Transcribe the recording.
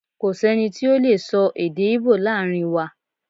Ko si ẹni ti o lee sọ èdè ibo laarin wa